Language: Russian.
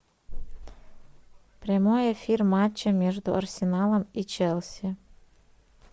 прямой эфир матча между арсеналом и челси